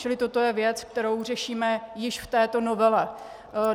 Čili toto je věc, kterou řešíme již v této novele.